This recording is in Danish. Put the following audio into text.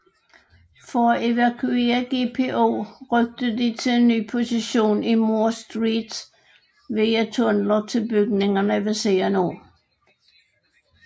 For at evakuere GPO rykkede de til en ny position i Moore Street via tunneler til bygningerne ved siden af